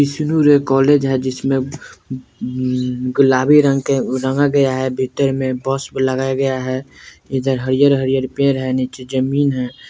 विष्णु Roy college है जिसमें गुलाबी रंग के रंगा गया है भीतर में बस लगाया गया है इधर हरियर-हरियर पेड़ है नीचे जमीन है।